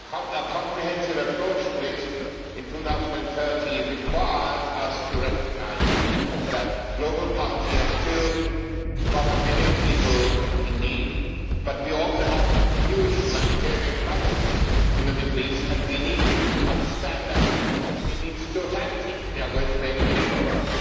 A comprehensive approach to this up to 2030 requires us to recognise that global poverty has still got a billion people in need, but we also have a huge humanitarian crisis in the Middle East and we need to understand that in its totality if we are going to make any progress.